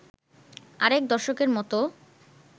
আরেক দর্শকের মত